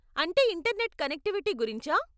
అంటే internet connectivity గురించా?